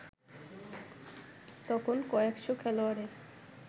তখন কয়েকশ’ খেলোয়াড়ের